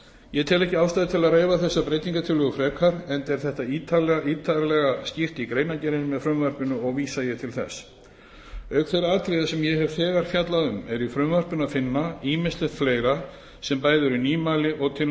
ég tel ekki ástæðu til að reifa þessar breytingartillögur frekar enda er þetta ítarlega skýrt í greinargerðinni með frumvarpinu og vísa ég til þess auk þeirra atriða sem ég hef þegar fjallað um er í frumvarpinu að finna ýmislegt fleira sem bæði eru nýmæli og til